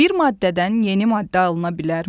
Bir maddədən yeni maddə alına bilərmi?